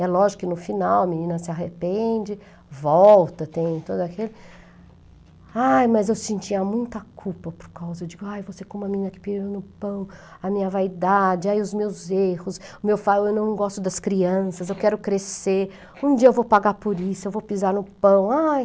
É lógico que no final a menina se arrepende, volta, tem todo aquele... Ai, mas eu sentia muita culpa por causa Ai, vou ser como a menina que pisa no pão, a minha vaidade, os meus erros, eu não gosto das crianças, eu quero crescer, um dia eu vou pagar por isso, eu vou pisar no pão. Ai!